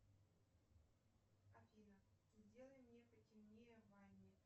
афина сделай мне потемнее в ванне